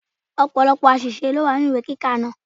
Ọ̀pọ̀lọ́pọ̀ àṣìṣe ló wà nínú ìwé kíkà náà.